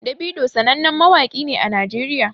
Davido sanannen mawaƙi ne a najeriya